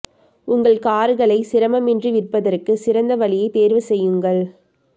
உங்கள் கார்களை சிரமமின்றி விற்பதற்கு சிறந்த வழியைத் தேர்வு செய்யுங்கள்